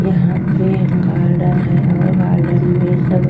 यहां पे गार्डन है और गार्डन में सब --